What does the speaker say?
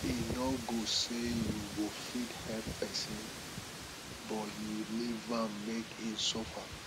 e no good say you go fit help pesin but you leave am make e suffer